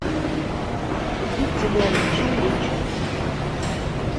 купить зеленый чай ричард